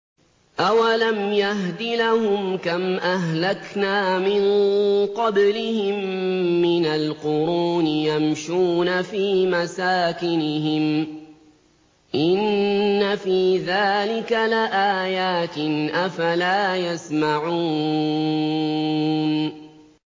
أَوَلَمْ يَهْدِ لَهُمْ كَمْ أَهْلَكْنَا مِن قَبْلِهِم مِّنَ الْقُرُونِ يَمْشُونَ فِي مَسَاكِنِهِمْ ۚ إِنَّ فِي ذَٰلِكَ لَآيَاتٍ ۖ أَفَلَا يَسْمَعُونَ